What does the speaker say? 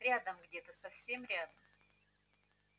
рядом где-то совсем рядом